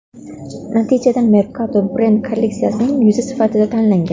Natijada Merkado brend kolleksiyasining yuzi sifatida tanlangan.